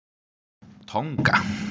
Tonga